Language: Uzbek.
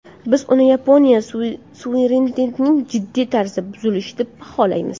Biz buni Yaponiya suverenitetining jiddiy tarzda buzilishi deb baholaymiz”.